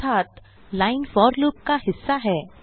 अर्थात line for loop का हिस्सा है